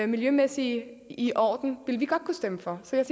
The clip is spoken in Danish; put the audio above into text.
miljømæssigt i orden ville kunne stemme for så jeg